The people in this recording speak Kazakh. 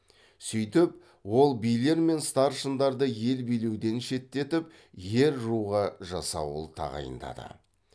сөйтіп ол билер мен старшындарды ел билеуден шеттетіп ер руға жасауыл тағайындады